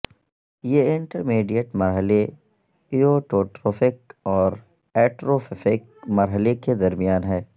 یہ انٹرمیڈیٹ مرحلے ایووٹوٹروفک اور ایٹروففیک مرحلے کے درمیان ہے